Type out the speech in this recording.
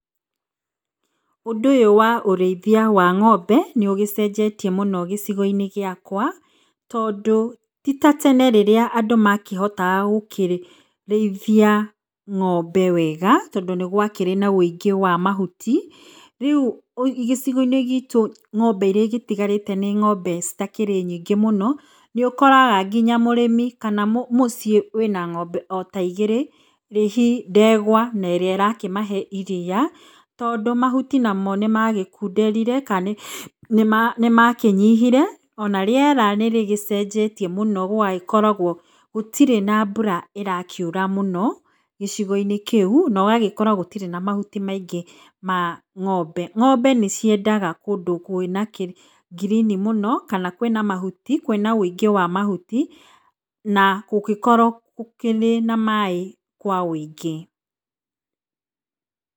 Ũndũ ũyũ wa ũrĩithia wa ng'ombe nĩ ũgĩcenjetie mũno gĩcigo-inĩ gĩakwa tondũ titatene rĩrĩa andũ makĩhotaga gũkĩrĩithia ng'ombe wega tondũ nĩ gwakĩrĩ na ũingĩ wa mahuti. Rĩu gĩcigo-inĩ gitũ ng'ombe iria igĩtigarĩte nĩ ng'ombe citakĩrĩ nyingĩ mũno, nĩ ũkoraga nginya mũrĩmi kana mũciĩ wĩna ng'ombe ota igĩrĩ, hihi ndegwa ne ĩrĩa ĩrakĩmahe iriia tondũ mahuti namo nĩmagĩkundrire kana nĩmakĩnyihire, ona rĩera nĩ rĩgĩcenjetie mũno gũgagĩkoragwo gũtirĩ na mbura ĩrakiura mũno gĩcigo-inĩ kĩu no ũgagĩkora gũtirĩ na mahuti maingĩ ma ng'ombe. Ng'ombe nĩ ciendaga kũndũ kwĩna ngirini mũno kana kwĩna mahuti, kwĩna ũingĩ wa mahuti na gũgĩkorwo gũkĩrĩ na maĩ kwa ũingĩ.